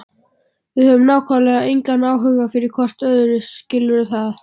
Við höfum nákvæmlega engan áhuga fyrir hvort öðru, skilurðu það?